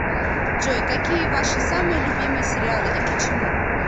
джой какие ваши самые любимые сериалы и почему